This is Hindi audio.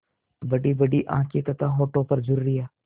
बड़ीबड़ी आँखें तथा होठों पर झुर्रियाँ